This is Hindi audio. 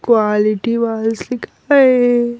क्वालिटी वाल लिखा है।